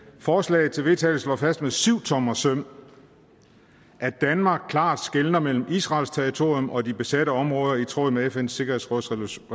forslaget til vedtagelse slår fast med syvtommersøm at danmark klart skelner mellem israels territorium og de besatte områder i tråd med fns sikkerhedsrådsresolution